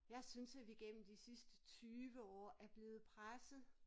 Jeg synes at vi gennem de sidste 20 år er blevet presset